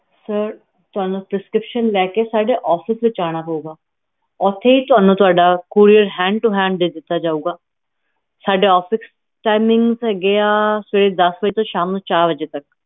sir ਤੁਹਾਨੂੰ prescription ਲੈ ਕੇ ਸਾਡੇ office ਵਿਚ ਆਣਾ ਪਾਊਗਾ ਓਥੇ ਹੀ ਤੁਹਾਨੂੰ ਤੁਹਾਡਾ courierhandtohand ਦੇ ਦਿੱਤਾ ਜੋਗਾ ਸਾਡੇ officetiming ਹੈਗੇ ਆ ਸਵੇਰੇ ਦਸ ਵਜੇ ਤੋਂ ਸ਼ਾਮੀ ਚਾਰ ਵਜੇ ਤਕ